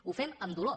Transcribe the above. ho fem amb dolor